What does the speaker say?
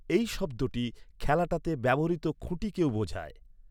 এই শব্দটি খেলাটাতে ব্যবহৃত খুঁটিকেও বোঝায়।